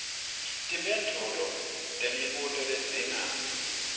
timphendvulo temibuto ledzinga